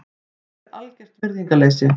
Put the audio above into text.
Þetta er algert virðingarleysi.